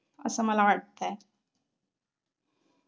असं मला वाटतंय.